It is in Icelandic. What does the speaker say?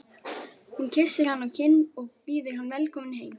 Hún kyssir hann á kinn og býður hann velkominn heim.